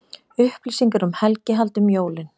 Upplýsingar um helgihald um jólin